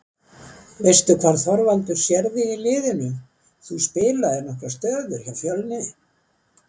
Veistu hvar Þorvaldur sér þig í liðinu, þú spilaðir nokkrar stöður hjá Fjölni?